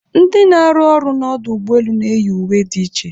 Ndị na-arụ ọrụ n'ọdụ ụgbọelu na-eyi uwe dị iche